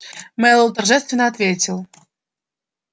мэллоу торжественно ответил